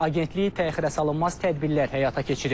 Agentlik təxirəsalınmaz tədbirlər həyata keçirib.